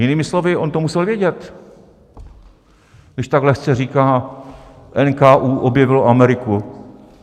Jinými slovy, on to musel vědět, když tak lehce říká: NKÚ objevilo Ameriku.